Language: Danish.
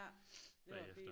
Ja det var fint